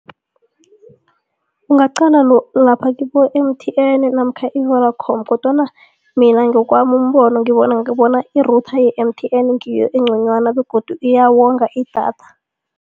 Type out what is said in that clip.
Ungaqala lapha kibo-M_T_N namkha i-Vodacom kodwana mina ngowami umbono ngibona bona i-router ye-M_T_N ngiyo engconywana begodu iyawonga idatha.